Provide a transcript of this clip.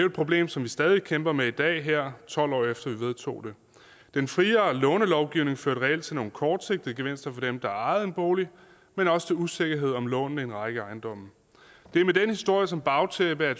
et problem som vi stadig væk kæmper med i dag her tolv år efter vi vedtog det den friere lånelovgivning førte reelt til nogle kortsigtede gevinster for dem der ejede en bolig men også til usikkerhed om lånene i en række ejendomme det er med den historie som bagtæppe at